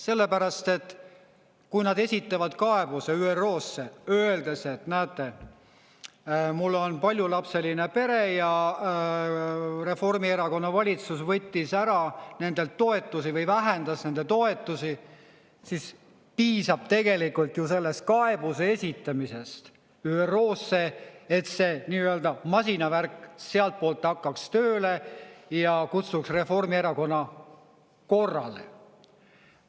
Sellepärast, et kui nad esitavad kaebuse ÜRO-sse, öeldes, et näete, mul on paljulapseline pere ja Reformierakonna valitsus võttis ära nendelt toetusi või vähendas nende toetusi, siis piisab tegelikult ju sellest kaebuse esitamisest ÜRO-sse, et see nii-öelda masinavärk sealtpoolt hakkaks tööle ja kutsuks Reformierakonna korrale.